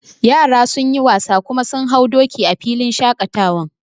Yara sun yi wasa kuma sun hau doki a filin shaƙatawan